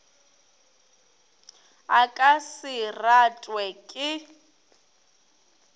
a ka se ratwe ke